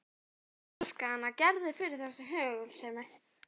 Ég elska hana Gerði fyrir þessa hugulsemi.